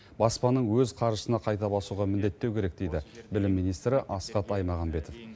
баспаның өз қаржысына қайта басуға міндеттеу керек дейді білім министрі асхат аймағамбетов